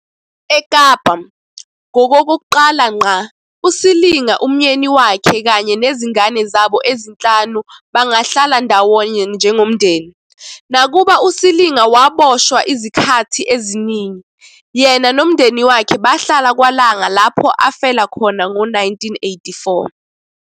EKapa, ngokokuqala ngqa, uSilinga, umyeni wakhe kanye nezingane zabo ezinhlanu bangahlala ndawonye njengomndeni. Nakuba uSilinga waboshwa izikhathi eziningi, yena nomndeni wakhe bahlala kwaLanga lapho afela khona ngo-1984